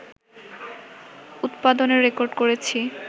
উৎপাদনের রেকর্ড করেছি